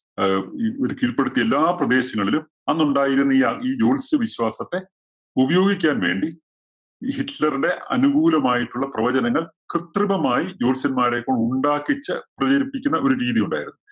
ആഹ് ഇവര് കീഴ്പ്പെടുത്തിയ എല്ലാ പ്രദേശങ്ങളിലും അന്നുണ്ടായിരുന്ന ഈ ഈ ജ്യോത്സ്യവിശ്വാസത്തെ ഉപയോഗിക്കാന്‍ വേണ്ടി ഈ ഹിറ്റ്ലറുടെ അനുകൂലമായിട്ടുള്ള പ്രവചനങ്ങള്‍ കൃതൃമമായി ജ്യോത്സ്യന്മാരെ ഒക്കെ ഉണ്ടാക്കിച്ച് പ്രചരിപ്പിക്കുന്ന ഒരു രീതി ഉണ്ടായിരുന്നു.